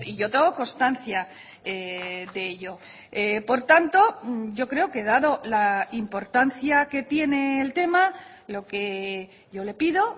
yo tengo constancia de ello por tanto yo creo que dado la importancia que tiene el tema lo que yo le pido